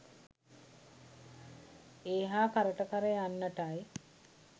ඒ හා කරට කර යන්නටයි